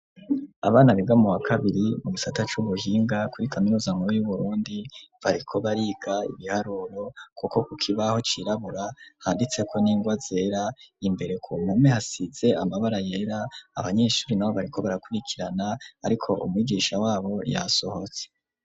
Abana biga mu wa kabiri mu gisata c'ubuhinga kuri kaminuza nkuru y'Uburundi, bariko bariga ibiharuro, kuko ku kibaho cirabura handitseko n'ingwa zera. Imbere ku mpome, hasize amabara yera. Abanyeshuri n'abo, bariko barakurikirana, ariko umwigisha w'abo yasohotse.